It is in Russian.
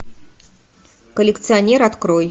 коллекционер открой